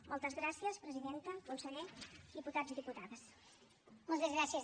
moltes gràcies presidenta conseller diputats i diputades